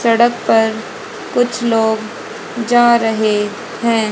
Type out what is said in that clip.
सड़क पर कुछ लोग जा रहे हैं।